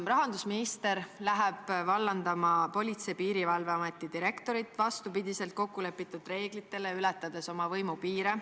Rahandusminister hakkab vallandama Politsei- ja Piirivalveameti peadirektorit, vastupidi kokkulepitud reeglitele, ületades oma võimupiire.